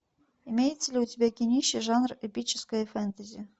имеется ли у тебя кинище жанр эпическое фэнтези